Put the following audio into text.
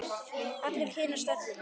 Allir kynnast öllum.